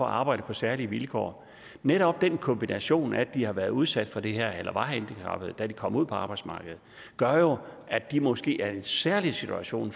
arbejde på særlige vilkår netop den kombination af at de har været udsat for det her eller var handicappede da de kom ud på arbejdsmarkedet gør jo at de måske er i en særlig situation